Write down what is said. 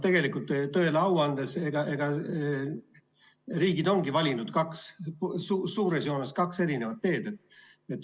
Tegelikult, tõele au andes, riigid ongi valinud suures joones kaks erinevat teed.